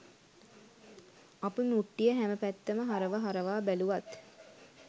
අපි මුට්ටිය හැම පැත්තම හරව හරවා බැලුවත්